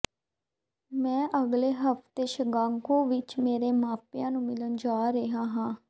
ਮੈਂ ਅਗਲੇ ਹਫ਼ਤੇ ਸ਼ਿਕਾਗੋ ਵਿੱਚ ਮੇਰੇ ਮਾਪਿਆਂ ਨੂੰ ਮਿਲਣ ਜਾ ਰਿਹਾ ਹਾਂ